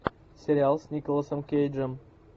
сериал с николасом кейджем